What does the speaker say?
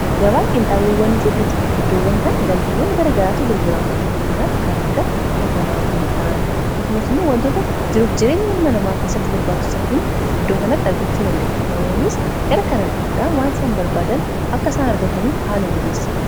Gabaa qinxaawawwaniifi butika iddoowwan kan galtiiwwan gara garaata gurgurama fakkeenyaaf kan akka kafanamidhaan kasumas immoo wantoota jiruuf jireenya ilma namaa keessatti barbaachusan hundi iddoo kanatti argachuu dandaenye. namoonnis gara kanan dhufuudhaan waan isan barbaadan akka isaan argataniif haala mijeessa.